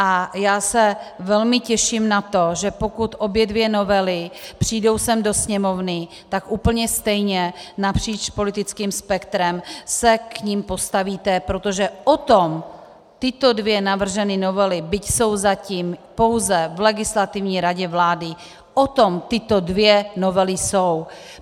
A já se velmi těším na to, že pokud obě dvě novely přijdou sem do Sněmovny, tak úplně stejně napříč politickým spektrem se k nim postavíte, protože o tom tyto dvě navržené novely, byť jsou zatím pouze v Legislativní radě vlády, o tom tyto dvě novely jsou.